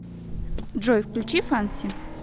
джой включи фанси